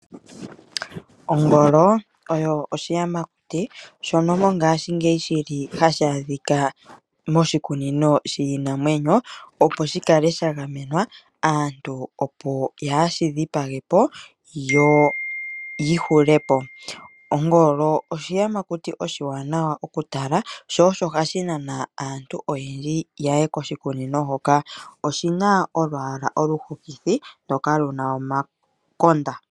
Ongolo oyo oshiyamakuti shono mongashingeyi hashi adhika moshikunino shiinamwenyo, opo shi kale sha gamenwa, opo aantu kaye shi dhipage po yo yi hule po. Ongolo oshiyamakuti oshiwanawa okutala, sho osho hashi nana aantu oyendji ya ye koshikunino hoka. Oshi na olwaala oluhokithi ndoka lu na omakonda.